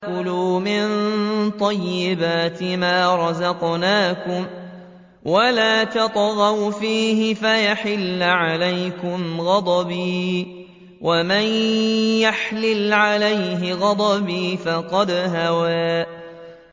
كُلُوا مِن طَيِّبَاتِ مَا رَزَقْنَاكُمْ وَلَا تَطْغَوْا فِيهِ فَيَحِلَّ عَلَيْكُمْ غَضَبِي ۖ وَمَن يَحْلِلْ عَلَيْهِ غَضَبِي فَقَدْ هَوَىٰ